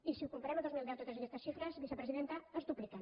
i si ho comparem amb el dos mil deu totes aquestes xifres vicepresidenta es dupliquen